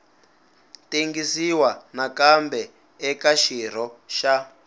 tengisiwa nakambe eka xirho xa